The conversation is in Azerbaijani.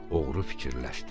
Oğru fikirləşdi: